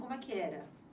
Como é que era?